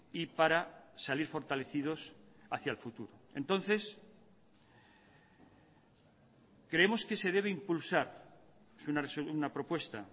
y para salir fortalecidos hacía el futuro entonces creemos que se debe impulsar una propuesta